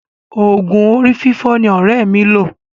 Òògùn orí fífọ́ ni ọ̀rẹ́ mi lo.